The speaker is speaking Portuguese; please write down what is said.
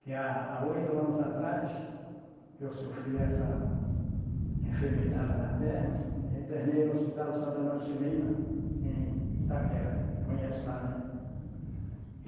Que a há oito anos atrás, que eu sofri essa enfermidade na perna, eu internei no Hospital Santa Marcelina, em Itaquera, conhece lá, né? E